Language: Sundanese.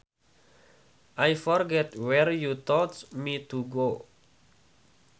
I forgot where you told me to go